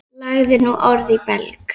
Lagði nú orð í belg.